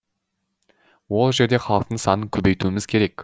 ол жерде халықтың санын көбейтуіміз керек